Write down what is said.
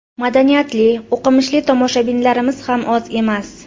Madaniyatli, o‘qimishli tomoshabinlarimiz ham oz emas.